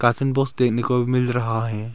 Ration box देखने को मिल रहा है।